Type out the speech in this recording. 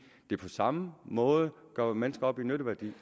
det på samme måde gør mennesker op i nytteværdi